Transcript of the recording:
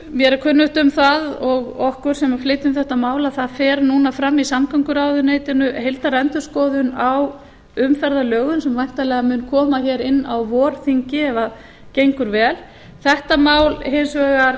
mér er kunnugt um það og okkur sem flytjum þetta mál að það fer núna fram í samgönguráðuneytinu heildarendurskoðun á umferðarlögum sem væntanlega mun koma inn á vorþingi ef gengur vel þetta